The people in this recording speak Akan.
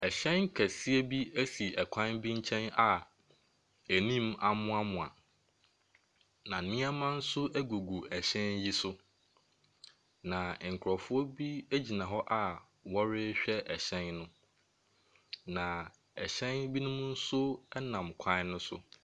Hyɛn kɛseɛ bi si kwan bi nkyɛn a anim amoamoa, na nneɛma nso gugu hyɛn yi so. Na nkurɔfoɔ bi gyina hɔ a wɔrehwwɛ hyɛn no, na ɛhyɛn binom nso nam kwan no so.